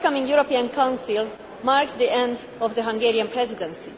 The forthcoming European Council marks the end of the Hungarian Presidency.